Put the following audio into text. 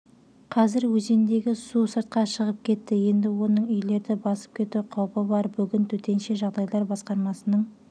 қазір өзендегі сусыртқа шығып кетті енді оның үйлерді басып кету қаупі бар бүгін төтенше жағдайлар басқармасының